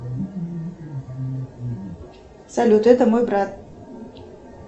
салют это мой брат